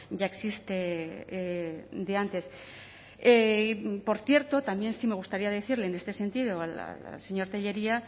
ya existe de antes y por cierto también sí me gustaría decirle en este sentido al señor tellería